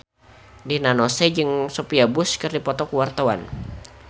Rina Nose jeung Sophia Bush keur dipoto ku wartawan